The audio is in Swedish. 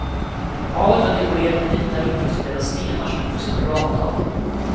Havet var dekorerat med vita rimfrostklädda stenar som gjorde sig bra mot allt det grå.